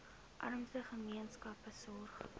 armste gemeenskappe sorg